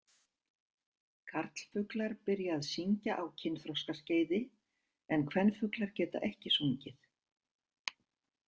Karlfuglar byrja að syngja á kynþroskaskeiði en kvenfuglar geta ekki sungið.